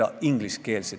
Aitäh, lugupeetud eesistuja!